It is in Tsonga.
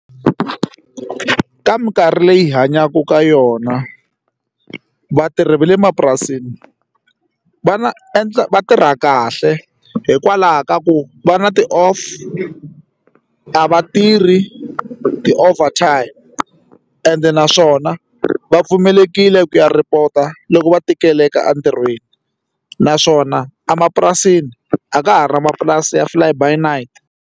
Ka mikarhi leyi hi hanyaka ka yona vatirhi va le mapurasini va na endla vatirha kahle hikwalaho ka ku va na ti-off a va tirhi ti-over time ende naswona va pfumelekile ku ya report-a loko va tikeleka entirhweni naswona emapurasini a ka ha ri na mapurasi ya fly by night.